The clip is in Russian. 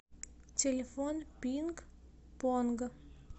телефон пингпонг